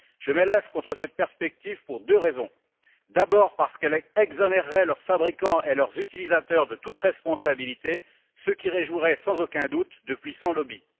Je m'élève contre cette perspective pour deux raisons d'abord, parce qu'elle exonérerait leurs fabricants et leurs utilisateurs de toute responsabilité, ce qui réjouirait sans aucun doute de puissants lobbies